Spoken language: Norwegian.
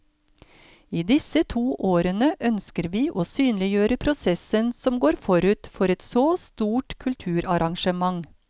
I disse to årene ønsker vi å synliggjøre prosessen som går forut for et så stort kulturarrangement.